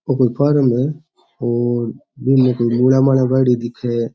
एक फार्म हैऔर बीमे मूला माला बायेडी दिखे --